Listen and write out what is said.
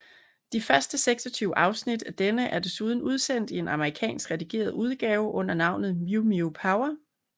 De første 26 afsnit af denne er desuden udsendt i en amerikansk redigeret udgave under navnet Mew Mew Power